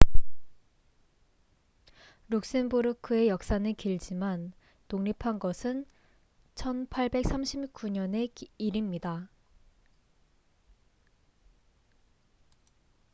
룩셈부르크의 역사는 길지만 독립한 것은 1839년의 일입니다